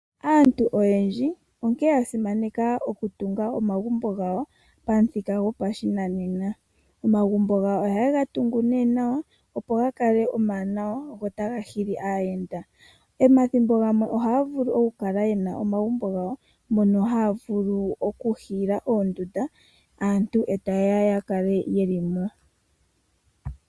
Aantu oyendji oya simaneka oku tunga omagumbo gawo pamuthika gwopashinanena. Oha ga tungwa nee nawa opo ga kale omawanawa go ota ga nana aayenda. Momagumbo muno oha mu vulu oku hiilithwa oondunda mono aantu ha ye ya yakale taa zimo onga omalukalwa gawo gopokathimbo.